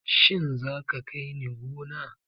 Shin za ka kai ni gona?